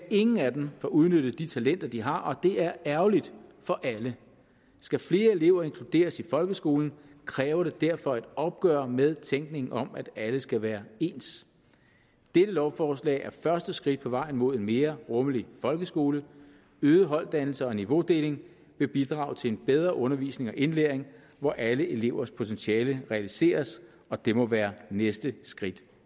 ingen af dem får udnyttet de talenter de har og det er ærgerligt for alle skal flere elever inkluderes i folkeskolen kræver det derfor et opgør med tænkningen om at alle skal være ens dette lovforslag er første skridt på vejen mod en mere rummelig folkeskole øget holddannelse og niveaudeling vil bidrage til en bedre undervisning og indlæring hvor alle elevers potentiale realiseres og det må være næste skridt